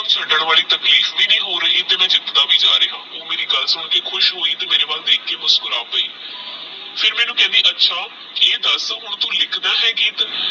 ਛੱਡਣ ਵਾਲੀ ਤਾਕੀਫ਼ ਵੀ ਨਹੀ ਹੋ ਰਹੀ ਤੇਹ ਜਿਤਦਾ ਵੀ ਜਾ ਰਿਹਾ ਓਹ ਮੇਰੀ ਗੱਲ ਸੁਨ ਕੇ ਖੁਸ਼ ਹੋਯੀ ਤੇਹ ਮੇਰੇ ਵਾਲ ਦੇਖ ਕੇ ਮੁਸ੍ਕੁਰਾ ਪੈ ਫਿਰ ਮੈਨੂ ਕਹਿੰਦੀ ਅੱਛਾ ਆਹ ਦੱਸ ਕਿ ਤੂੰ ਹੁਣ ਲਿਖਦਾ ਆਹ ਗੀਤ